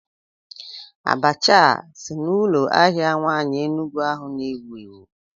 Abacha a si n'ụlọ ahịa nwaanyị Enugwu ahu na-ewu ewu?